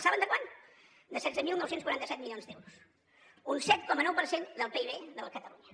saben de quant de setze mil nou cents i quaranta set milions d’euros un set coma nou per cent del pib de catalunya